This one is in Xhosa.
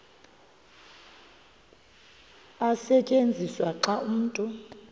tyenziswa xa umntu